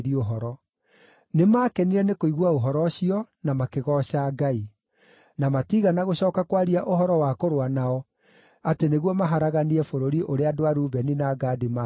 Nĩmakenire nĩ kũigua ũhoro ũcio, na makĩgooca Ngai. Na matiigana gũcooka kwaria ũhoro wa kũrũa nao atĩ nĩguo maharaganie bũrũri ũrĩa andũ a Rubeni na Gadi matũũraga.